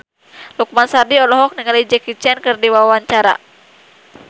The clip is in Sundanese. Lukman Sardi olohok ningali Jackie Chan keur diwawancara